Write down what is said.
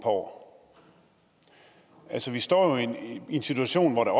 år vi står jo i en situation hvor der